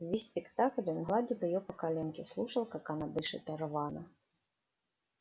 весь спектакль он гладил её по коленке слушал как она дышит рвано